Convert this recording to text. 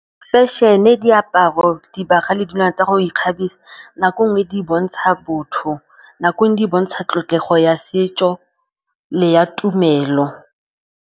Fashion-e, diaparo, dibagwa le dilwana tsa go ikgabisa nako nngwe di bontsha botho, nako nngwe di bontsha tlotlego ya setso le ya tumelo.